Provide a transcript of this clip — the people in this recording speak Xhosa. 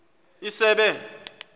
isebe